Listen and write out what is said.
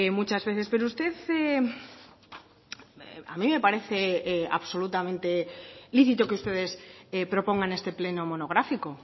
muchas veces pero usted a mí me parece absolutamente lícito que ustedes propongan este pleno monográfico